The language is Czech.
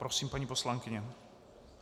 Prosím, paní poslankyně.